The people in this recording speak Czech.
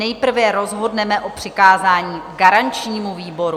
Nejprve rozhodneme o přikázání garančnímu výboru.